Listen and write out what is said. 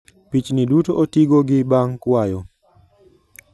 Pichni duto otigo gi bang kwayo